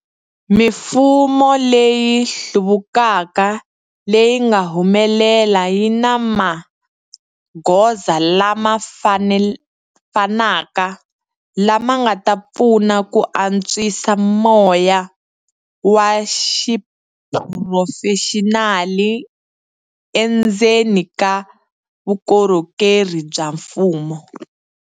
Mifumo leyi hluvukaka leyi nga humelela yi na magoza lama fanaka lama nga ta pfuna ku antswisa moya wa xiphurofexinali endzeni ka vukorhokeri bya mfumo.